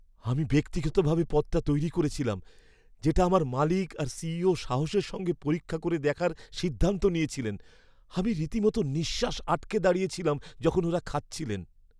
আমি ব্যক্তিগতভাবে পদটা তৈরি করেছিলাম, যেটা আমার মালিক আর সিইও সাহসের সঙ্গে পরীক্ষা করে দেখার সিদ্ধান্ত নিয়েছিলেন। আমি রীতিমতো নিঃশ্বাস আটকে দাঁড়িয়েছিলাম যখন ওঁরা খাচ্ছিলেন।